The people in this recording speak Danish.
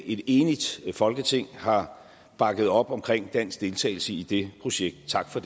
et enigt folketing har bakket op om dansk deltagelse i det projekt tak for